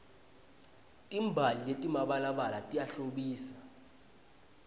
timbali letimabalabala tiyahlobisa